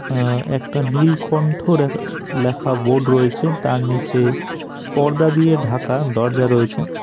আ একটা নীলকন্ঠর লেখা বোর্ড রয়েছে তার নীচে পর্দা দিয়ে ঢাকা দরজা রয়েছে।